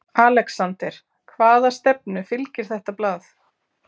ALEXANDER: Hvaða stefnu fylgir þetta blað?